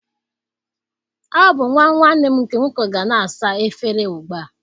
Ọ bụ nwa nwannem nke nwoke ga na-asa efere ugbu a